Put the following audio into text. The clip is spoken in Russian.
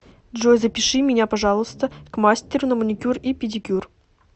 джой запиши меня пожалуйста к мастеру на маникюр и педикюр